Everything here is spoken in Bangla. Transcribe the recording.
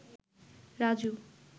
রাজু